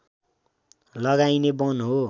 लगाइने वन हो